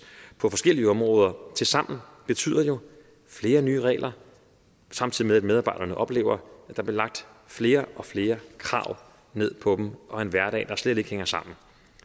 på forskellige områder tilsammen betyder flere nye regler samtidig med at medarbejderne oplever at der bliver lagt flere og flere krav ned på dem og en hverdag der slet ikke hænger sammen